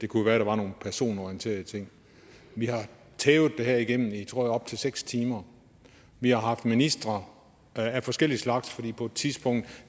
kunne være at der var nogle personorienterede ting vi har tævet det her igennem i tror jeg op til seks timer vi har haft ministre af forskellig slags fordi på et tidspunkt